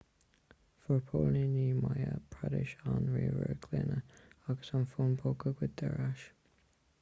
fuair póilíní madhya pradesh an ríomhaire glúine agus an fón póca goidte ar ais